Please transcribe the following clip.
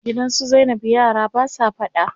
Gidan su zainab yara basa faɗa.